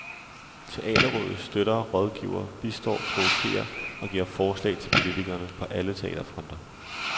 Teaterrådet støtter, rådgiver, bistår, provokerer og giver forslag til politikerne på alle teaterfronter.